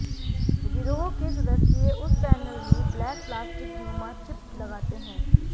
गिरोह के सदस्य उस पैनल में ब्लैक प्लास्टिक नुमा चिप लगाते हैं